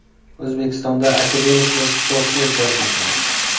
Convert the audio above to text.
O‘zbekistonda akademiklar sportga jalb etildi.